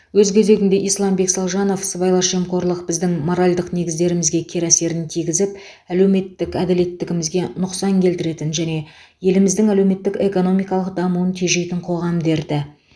өз кезегінде исламбек салжанов сыбайлас жемқорлық біздің моральдық негіздерімізге кері әсерін тигізіп әлеуметтік әділеттілігімізге нұқсан келтіретін және еліміздің әлеуметтік экономикалық дамуын тежейтін қоғам дерті